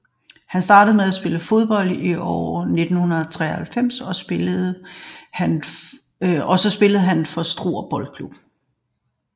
Han startede med at spille fodbold i år 1993 og så spillede han for Struer Boldklub